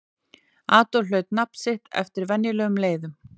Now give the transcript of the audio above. Adolf hlaut nafn sitt eftir venjulegum leiðum.